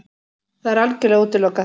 Það er algjörlega útilokað!